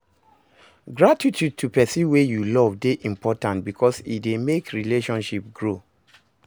Gratitude to persin wey you love de important because e de make relationship grow